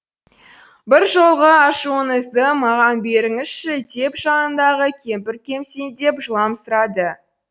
бір жолғы ашуыңызды маған беріңізші деп жанындағы кемпір кемсеңдеп жыламсырады